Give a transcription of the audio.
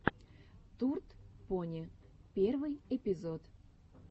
турд пони первый эпизод